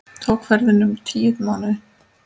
Tók ferðin um tíu mánuði.